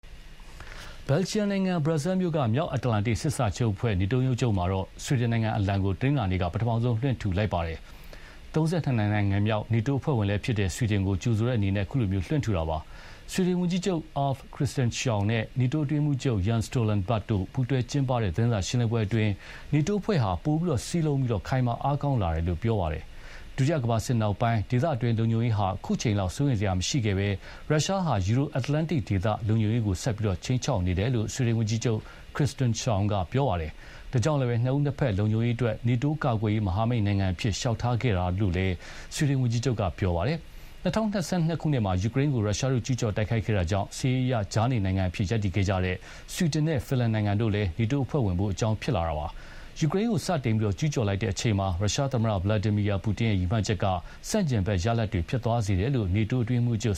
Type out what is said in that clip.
ဘယ်လ်ဂျီယံနိုင်ငံ၊ ဘရပ်ဆဲလ်မြို့က မြောက်အတ္တလန္တိတ်စစ်စာချုပ်အဖွဲ့ NATO ရုံးချုပ်မှာ ဆွီဒင်နိုင်ငံအလံကို တနင်္လာနေ့က ပထမဆုံးလွှင့်ထူလိုက်ပါတယ်။ ၃၂ နိုင်ငံမြောက် နေတိုးအဖွဲ့ဝင်ဖြစ်လာတဲ့ ဆွီဒင်ကို ကြိုဆိုတဲ့အနေနဲ့ ခုလို လွှင့်ထူလိုက်တာပါ။ ဆွီဒင်ဝန်ကြီးချုပ် Ulf Kristersson နဲ့ နေတိုးအတွင်းရေးမှူးချုပ် Jens Stoltenberg တို့ ပူးတွဲကျင်းပတဲ့သတင်းစာရှင်းလင်းပွဲမှာ နေတိုးအဖွဲ့ဟာ ပိုမိုစည်းလုံးပြီး ခိုင်မာအားကောင်းလာတယ်လို့ ပြောသွားပါတယ်။ ဒုတိယကမ္ဘာစစ် နောက်ပိုင်း ဒေသတွင်းလုံခြုံရေးဟာ ခုအချိန်လောက် စိုးရိမ်စရာမရှိခဲ့ဘဲ ရုရှားဟာ Euro-Atlantic ဒေသ လုံခြုံရေးကို ဆက်ပြီးခြိမ်းခြောက်တယ်လို့ ဆွီဒင်ဝန်ကြီးချုပ် Kristersson ကပြောပါတယ်။ ဒါကြောင့်လည်း နှစ်ဦးနှစ်ဘက်လုံခြုံရေးအတွက် နေတိုး ကာကွယ်ရေးမဟာမိတ်နိုင်ငံအဖြစ် လျှောက်ထားခဲ့တာပါလို့လည်း ဆွီဒင်ဝန်ကြီးချုပ်က ပြောပါတယ်။ ၂၀၂၂ ခုနှစ်မှာ ယူကရိန်းကို ရုရှားတို့ကျူးကျော်တိုက်ခိုက်ခဲ့တာကြောင့် စစ်ရေးအရ ကြားနေနိုင်ငံအဖြစ်ရပ်တည်ခဲ့ကြတဲ့ ဆွီဒင်နဲ့ဖင်လန်နိုင်ငံတို့လည်း နေတိုးအဖွဲ့ဝင်ဖို့ အကြောင်းဖြစ်လာတာပါ။ ယူကရိန်းကို စတင်ကျူးကျော်လိုက်တဲ့အချိန်မှာ ရုရှားသမ္မတ ဗလာဒီမီယာပူတင်ရဲ့ရည်မှန်းချက်က ဆန့်ကျင်ဘက်ရလဒ်တွေဖြစ်သွားစေတယ်လို့ နေတိုးအတွင်းရေးမှူးချုပ်